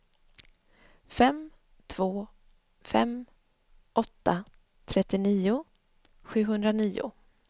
fem två fem åtta trettionio sjuhundranio